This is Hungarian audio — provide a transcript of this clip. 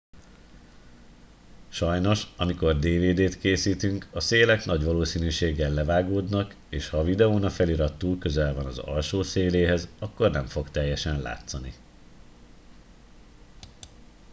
sajnos amikor dvd t készítünk a szélek nagy valószínűséggel levágódnak és ha a videón a felirat túl közel van az alsó széléhez akkor nem fog teljesen látszani